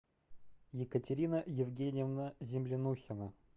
екатерина евгеньевна землянухина